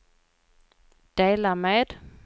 dela med